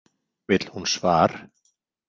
Vill hún svar?